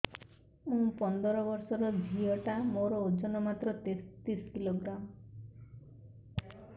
ମୁ ପନ୍ଦର ବର୍ଷ ର ଝିଅ ଟା ମୋର ଓଜନ ମାତ୍ର ତେତିଶ କିଲୋଗ୍ରାମ